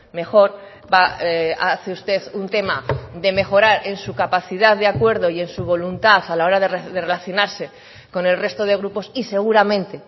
mejor hace usted un tema de mejorar en su capacidad de acuerdo y en su voluntad a la hora de relacionarse con el resto de grupos y seguramente